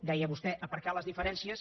deia vostè aparcar les diferències